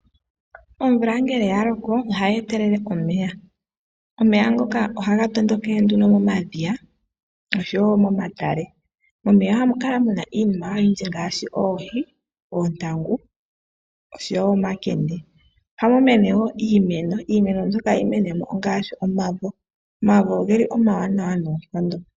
Omvula ngele ya loko ohayi etelele omeya, omeya ngoka ohaga tondokele nduno momadhiya nosho wo momomatale. Momeya oha mu kala mu na iinima oyindji ngaashi oohi, oontangu osho wo omakende. Ohamu mene wo iimeno, iimeno mbyoka hayi mene mo ongaashi omavo, omavo ogeli omawanawa noonkondo.